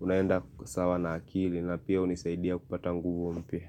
unaenda sawa na akili na pia hunisaidia kupata nguvu mpya.